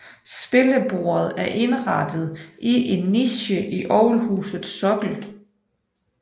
Spillebordet er indrettet i en niche i orgelhusets sokkel